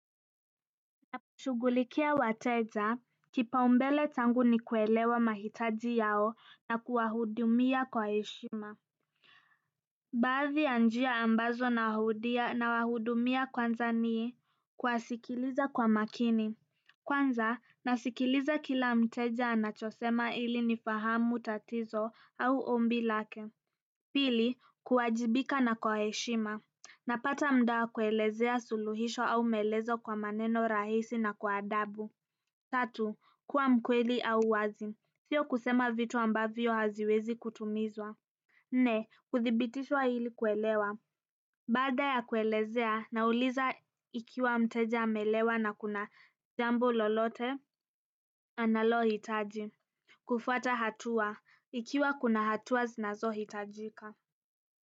Ninaposhughulikia wateja kipaumbele changu ni kuelewa mahitaji yao na kuwahudumia kwa heshima baadhi ya njia ambazo nawahudumia kwanza ni kuwasikiliza kwa makini kwanza nasikiliza kila mteja anachosema ili nifahamu tatizo au ombi lake pili kuwajibika na kwa heshima napata muda wa kuelezea suluhisho au maelezo kwa maneno rahisi na kwa adabu tatu kuwa mkweli au wazi sio kusema vitu ambavyo haziwezi kutimizwa nne kuthibitishwa ili kuelewa baada ya kuelezea nauliza ikiwa mteja ameelewa na kuna jambo lolote analohitaji kufuata hatua ikiwa kuna hatua zinazo hitajika.